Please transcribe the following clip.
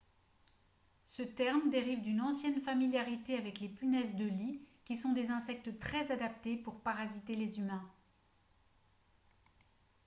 ce terme dérive d'une ancienne familiarité avec les punaises de lit qui sont des insectes très adaptés pour parasiter les humains